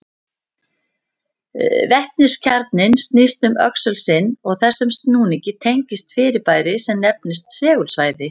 Vetniskjarninn snýst um öxul sinn og þessum snúningi tengist fyrirbæri sem nefnist segulvægi.